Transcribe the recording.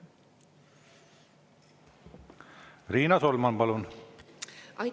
Riina Solman, palun!